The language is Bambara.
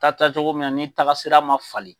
Taa taacogo min na ni taara sira man fali.